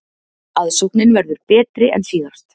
Aðsóknin verður betri en síðast